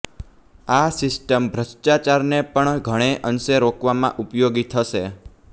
આ સિસ્ટમ ભ્રષ્ટાચારને પણ ઘણે અંશે રોકવામાં ઉપયોગી થશે